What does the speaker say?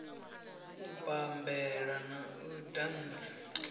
u bammbela na u dantsa